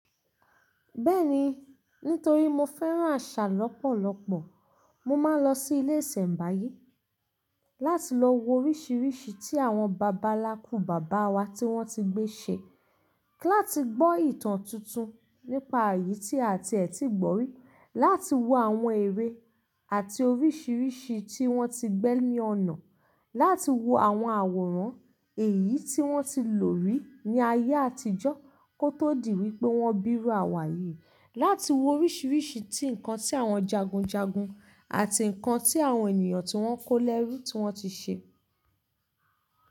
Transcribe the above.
Bẹ́ẹ̀ni, nítorí mo fẹ́ràn àṣà lọ́pọ̀lọpọ̀. Mo máa ń lọ sí ilé ìsẹ̀ǹbáyé láti lọ wo oríṣìíríṣìí tí àwọn bàbá nlàákú bàbá wa tí wọ́n ti gbé ṣe, kí láti gbọ́ ìtàn tuntun nípa èyí tí a àti ẹ̀ ti gbọ́ rí, láti wo àwọn eré àti oríṣìíríṣìí tí wọ́n ti gbẹ́ ní ọ̀nà, láti wo àwọn àwòrán èyí tí wọ́n ti lò rí ní ayé àtijọ́ kó tó di wípé wọ́n bírú àwáyi, láti wo oríṣìíríṣìí ti nǹkan tí àwọn jagunjagun àti nǹkan tí àwọn ènìyàn tí wọ́n kó lẹ́rú tí wọ́n ti ṣe.